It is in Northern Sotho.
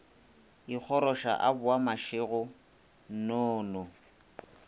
ikgoroša a boa mašego nnono